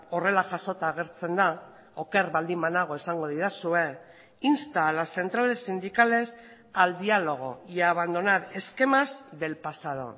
horrela jasota agertzen da oker baldin banago esango didazue insta a las centrales sindicales al diálogo y a abandonar esquemas del pasado